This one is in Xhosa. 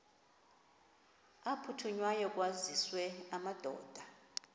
aphuthunywayo kwaziswe amadoda